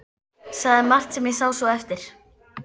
Sagði margt sem ég sá svo eftir.